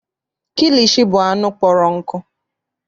Kilishi bụ anụ kpọrọ nkụ.